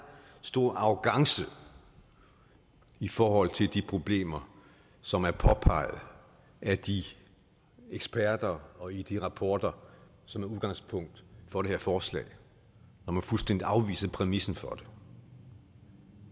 stor arrogance i forhold til de problemer som er påpeget af de eksperter og i de rapporter som er udgangspunkt for det her forslag når man fuldstændig afviser præmissen for det